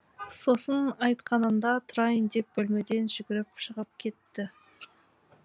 сосын айтқанында тұрайын деп бөлмеден жүгіріп шығып кетті